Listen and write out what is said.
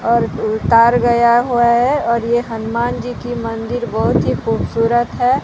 और तार गया हुआ है और ये हनुमान जीकि मंदिर बहोत ही खूबसूरत है।